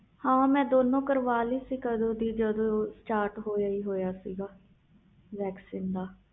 ਹਾਂ ਮੈਂ ਦੋਨੂੰ ਕਰਵਾਲੀ ਸੀ ਜਦੋ start ਹੋਇਆ ਸੀ